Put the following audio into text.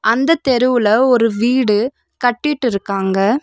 அந்த தெருவுல ஒரு வீடு கட்டிட்டுருக்காங்க.